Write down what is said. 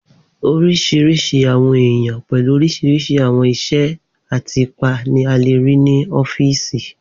Oríṣiríṣi àwọn èèyàn pẹ̀lu oríṣiríṣi àwọn iṣẹ́ àti ipa ní a lè rí ní ọ́fìsì